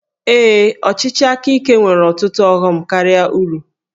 Ee, ọchịchị aka ike nwere ọtụtụ ọghọm karịa uru